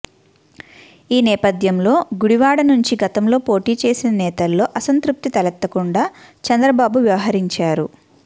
ఈ నేపథ్యంలో గుడివాడ నుంచి గతంలో పోటీ చేసిన నేతల్లో అసంతృప్తి తలెత్తకుండా చంద్రబాబు వ్యవహరించారు